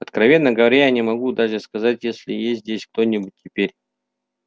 откровенно говоря я не могу даже сказать есть ли здесь кто-нибудь теперь